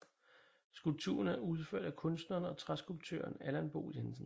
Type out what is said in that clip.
Skulpturen er udført af kunstneren og træskulptøren Allan Bo Jensen